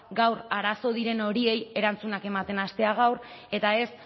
gaur arazo diren horiei erantzunak ematen hastea gaur eta ez